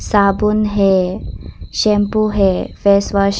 साबुन है शैंपू है फेस वॉश--